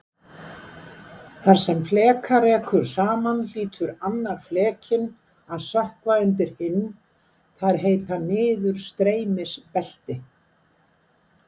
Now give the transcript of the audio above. Þar sem fleka rekur saman hlýtur annar flekinn að sökkva undir hinn- þar heita niðurstreymisbelti.